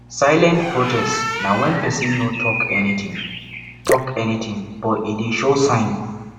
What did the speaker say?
silent protest na when persin no talk anything talk anything but e de show sign